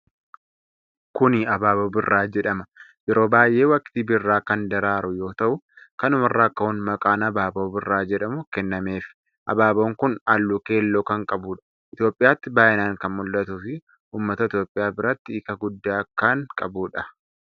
Kuni Habaaboo Birraa jedhama. Yeroo baay'ee waqtii birraa kan daraaru yoo ta'u, kanuma irraa ka'uun maqaan Habaaboo Birraa jedhamu kennameefi. Habaaboon kun halluu keelloo kan qabudha. Itoophiyaatti baay'inaan kan mul'atuufii ummata Itoophiyaa biratti hiika guddaa kan qabuudha.